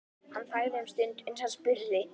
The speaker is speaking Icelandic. Hann þagði um stund uns hann spurði